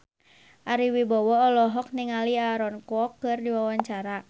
Ari Wibowo olohok ningali Aaron Kwok keur diwawancara